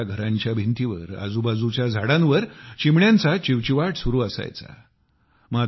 पूर्वी आपल्या घरांच्या भिंतींवर आजूबाजूच्या झाडांवर चिमण्यांचा चिवचिवाट सुरु असायचा